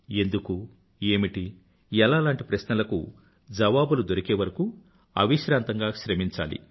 ఎందుకు ఏమిటి ఎలా లాంటి ప్రశ్నలకు జవాబులు దొరికేవరకూ అవిశ్రాంతంగా శ్రమించాలి